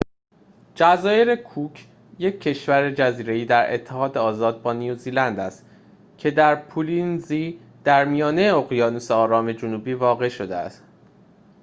جزایر کوک یک کشور جزیره‌ای در اتحاد آزاد با نیوزلند است که در پولینزی در میانه اقیانوس آرام جنوبی واقع شده است